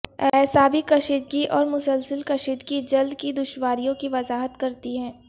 اعصابی کشیدگی اور مسلسل کشیدگی جلد کی دشواریوں کی وضاحت کرتی ہے